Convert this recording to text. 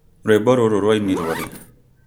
rwĩmbo rũrũ rwainirũo rĩ